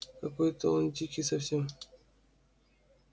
какой-то он дикий совсем